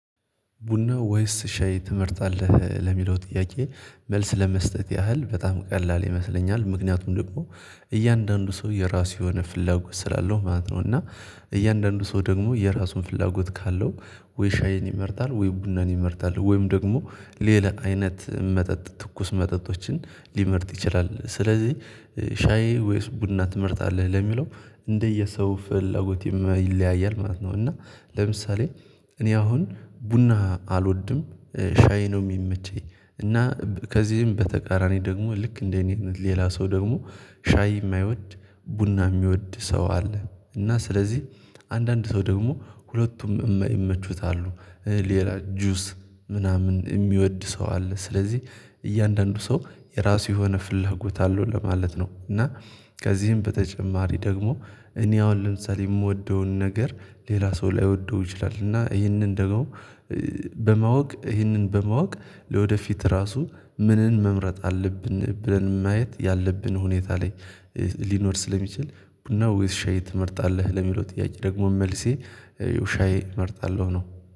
ቡና ወይስ ሻይ ትመርጣለህ ለሚለው ጥያቄ መልስ ለመስጠት ያህል በጣም ቀላል ይመስለኛል። ምክንያቱም ደግሞ እያንዳንዱ ሰው የራሱ የሆነ ፍላጎት ስላለው ማለት ነው። እና እያንዳንዱ ሰው ደግሞ የራሱ ፍላጎት ካለው ወይ ሻይን ይመርጣል ወይ ቡናን ይመርጣል ወይም ደግሞ ሌላ አይነት መጠጥ ትኩስ መጠጦችን ሊመርጥ ይችላል። ስለዚህ ሻዬ ወይስ ቡና ትመርጣለህ? ለሚለው እንደየሰው ፍላጎት ይለያያል ማለት ነው። እና ለምሳሌ እኔ አሁን ቡና አልወድም። ሻይ ነው ሚመቸኝ። እና ከዚህም በተቃራኒ ደግሞ ልክ እንደኔ ሌላ ሰው ደግሞ ሻይ እማይወድ ቡና ሚወድ ሰው አለ። እና ስለዚህ አንዳንድ ሰው ደግሞ ሁለቱም ይመቹታሉ። ሌላ ጁስ ምናምን እሚወድ ሰው አለ። ስለዚህ እያንዳንዱ ሰው የራሱ የሆነ ፍላጎት አለው ለማለት ነው። እና ከዚህም በተጨማሪ ደግሞ እኔ አሁን ለምሳሌ እምወደውን ነገር ሌላ ሰው ላይወደው ይችላል። እና ይህንን ደግሞ በማወቅ ይህንን በማወቅ ለወደፊት ራሱ ምንን መምረጥ አለብን ብለን ማየት ያለብን ሁኔታ ላይ ሊኖር ስለሚችል። ቡና ወይስ ሻይ ትመርጣለህ? ለሚለው ጥያቄ ደግሞ መልሴ ሻይ እመርጣለሁ ነው።